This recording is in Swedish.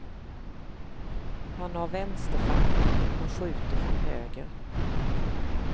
Han har vänsterfattning men skjuter från höger.